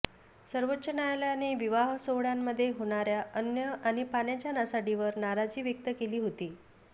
सर्वोच्च न्यायालयाने विवाह सोहळय़ांमध्ये होणाऱया अन्न आणि पाण्याच्या नासाडीवर नाराजी व्यक्त केली होती